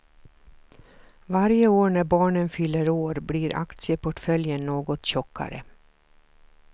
Varje år när barnen fyller år blir aktieportföljen något tjockare.